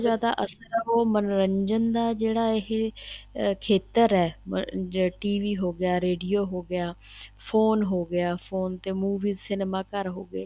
ਜਿਆਦਾ ਅਸਰ ਹੈ ਉਹ ਮੰਨੋਰੰਜਨ ਦਾ ਜਿਹੜਾ ਇਹ ਖੇਤਰ ਹੈ ਅਹ ਜਿਹੜਾ TV ਹੋਗਿਆ radio ਹੋਗਿਆ phone ਹੋਗਿਆ phone ਤੇ movies cinema ਘਰ ਹੋ ਗਏ